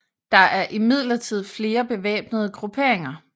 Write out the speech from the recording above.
Der er imidlertid flere bevæbnede grupperinger